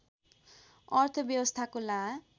अर्थव्यवस्थाको ला